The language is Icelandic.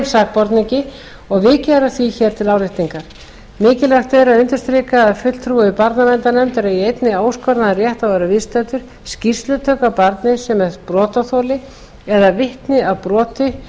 og er vikið að því hér til áréttingar mikilvægt er að undirstrika að fulltrúi barnaverndarnefndar eigi einnig óskoraðan rétt á að vera viðstaddur skýrslutöku af barni sem er brotaþoli eða vitni að broti